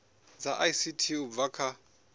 dza ict u bva kha